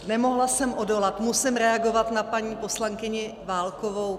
Nemohla jsem odolat, musím reagovat na paní poslankyni Válkovou.